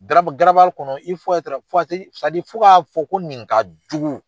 Garabali kɔnɔ fo ka fɔ ko nin ka jugu.